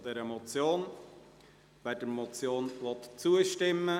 Wer der Motion zustimmen will, stimmt Ja, wer dies ablehnt, stimmt Nein.